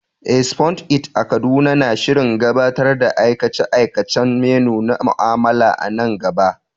Eh, Spoon It a Kaduna na shirin gabatar da aikace-aikacen menu na mu'amala a nan gaba.